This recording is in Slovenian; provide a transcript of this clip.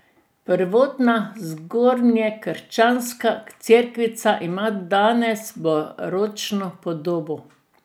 Prvotna zgodnjekrščanska cerkvica ima danes baročno podobo.